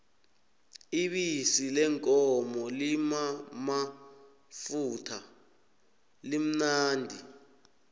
ibisi leenkomo limamafutha limnandi